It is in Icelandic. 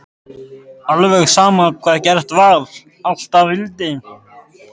Alveg sama hvað gert var, alltaf vildi